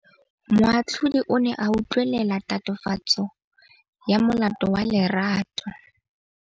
Moatlhodi o ne a utlwelela tatofatsô ya molato wa Lerato.